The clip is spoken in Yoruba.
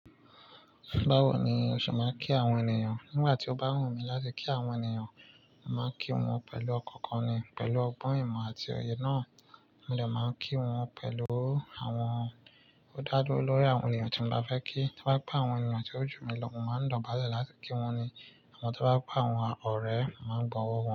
Báwo ni o ṣe máa ń kí àwọn ènìyàn? Nígbà tí ó bá wù mí láti kí àwọn ènìyàn, màá kí wọn pẹ̀lú ọkàn kan ni pẹ̀lú ọgbọ́n ìmọ̀ àti òye náà. Mo lè máa kí wọn pẹ̀lú àwọn ó dádúró lórí àwọn ènìyàn tí mo bá fẹ́ kí. To ba je pẹ́ àwọn ènìyàn tí ó jù mí lọ, mò máa ń dobale láti kí wọ́n ni. Àmọ́ tí bá pẹ́ àwọn ọ̀rẹ́, mò máa ń bọ̀wọ̀ wọn.